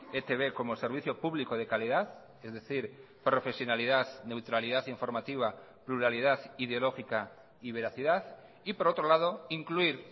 etb como servicio público de calidad es decir profesionalidad neutralidad informativa pluralidad ideológica y veracidad y por otro lado incluir